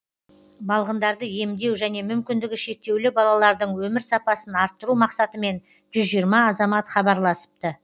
балғындарды емдеу және мүмкіндігі шектеулі балалардың өмір сапасын арттыру мақсатымен жүз жиырма азамат хабарласыпты